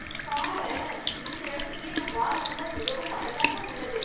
பாரேன்.. இந்த எடத்திலேயே நம் வாகனம் தான் மிகவும் அழகாக உள்ளது!